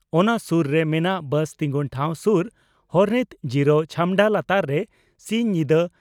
ᱚᱱᱟ ᱥᱩᱨ ᱨᱮ ᱢᱮᱱᱟᱜ ᱵᱟᱥ ᱴᱤᱝᱜᱩᱱ ᱴᱷᱟᱣ ᱥᱩᱨ ᱦᱚᱨᱛᱤᱱ ᱡᱤᱨᱟᱹᱣ ᱪᱷᱟᱢᱰᱟ ᱞᱟᱛᱟᱨ ᱨᱮ ᱥᱤᱧ ᱧᱤᱫᱟᱹ